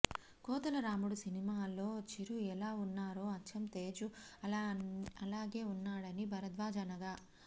కోతలరాయుడు సినిమాలో చిరు ఎలా ఉన్నారో అచ్చం తేజు అలాగే ఉన్నాడని భరద్వాజ్ అనగా